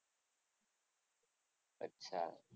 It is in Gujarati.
અચ્છા.